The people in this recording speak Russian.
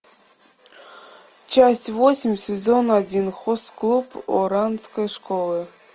часть восемь сезон один хост клуб оранской школы